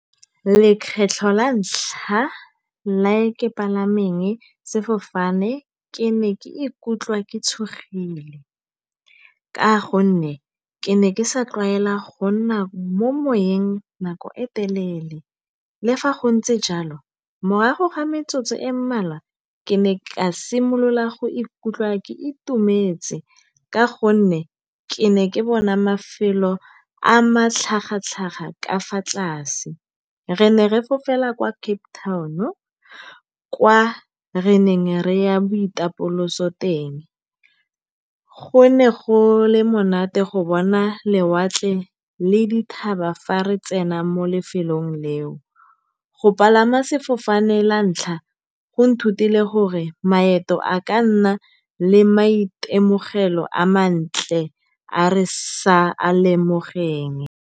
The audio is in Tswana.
Lekgetlho la ntlha la ke palameng sefofane ke ne ke ikutlwa ke tshogile ka gonne ke ne ke sa tlwaela go nna mo moweng nako e telele. Le fa go ntse jalo morago ga metsotso e mmalwa ke ne ka simolola go ikutlwa ke itumetse ka gonne ke ne ke bona mafelo a matlhagatlhaga ka fa tlase. Re ne re fofela kwa Cape Town-o kwa re neng re ya boitapoloso teng, go ne go le monate go bona lewatle le dithaba fa re tsena mo lefelong leo. Go palama sefofane la ntlha go nthutile gore maeto a ka nna le maitemogelo a mantle a re sa a lemogeng.